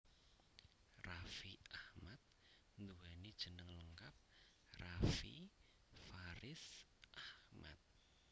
Raffi Ahmad nduwéni jeneng lengkap Raffi Faridz Ahmad